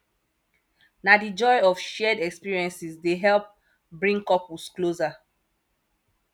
na di joy of shared experiences dey help bring couples closer